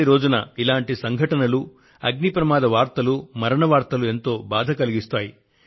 దీపావళి రోజున ఇలాంటి ఘటనలు అగ్ని ప్రమాద వార్తలు మరణ వార్తలు ఎంతో బాధ కలిగిస్తాయి